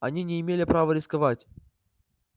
они не имела права рисковать